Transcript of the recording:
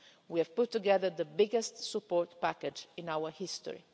We have put together the biggest support package in our history.